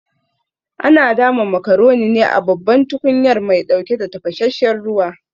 Ana dama macaroni ne a babban tukunyar mai ɗauke da tafasasshen ruwa